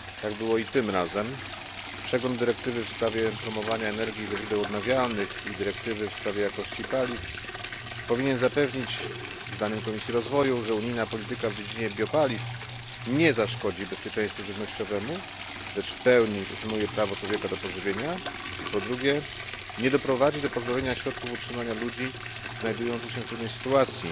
Tak było i tym razem. Przegląd dyrektywy w sprawie promowania energii ze źródeł odnawialnych i dyrektywy w sprawie jakości paliw powinien zapewnić, zdaniem Komisji Rozwoju, że po pierwsze unijna polityka w dziedzinie biopaliw nie zaszkodzi bezpieczeństwu żywnościowemu, lecz w pełni uszanuje prawo człowieka do pożywienia, a po drugie nie doprowadzi do pozbawienia środków utrzymania ludzi znajdujących się w trudnej sytuacji